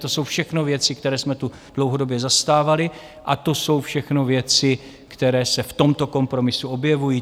To jsou všechno věci, které jsme tu dlouhodobě zastávali, a to jsou všechno věci, které se v tomto kompromisu objevují.